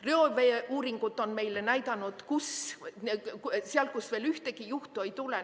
Reoveeuuringud seal, kust veel ühtegi juhtu ei tule.